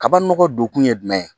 Kabini nɔgɔ don kun ye jumɛn ye